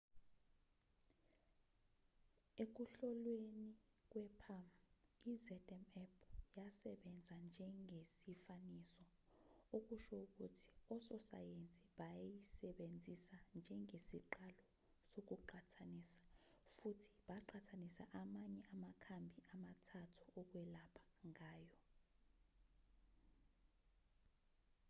ekuhloleni kwe-palm i-zmapp yasebenza njengesifaniso okusho ukuthi ososayensi bayisebenzisa njengesiqalo sokuqhathanisa futhi baqhathanisa amanye amakhambi amathathu okwelapha nayo